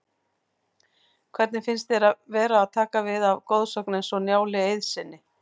Hvernig finnst þér að vera að taka við af goðsögn eins og Njáli Eiðssyni?